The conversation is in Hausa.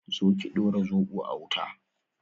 Zo ki dora zobo a wuta